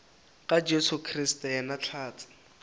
ka jesu kriste yena hlatse